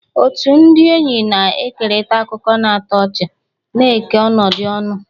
Otu ndị enyi na-ekerịta akụkọ na-atọ ọchị, na-eke ọnọdụ ọñụ.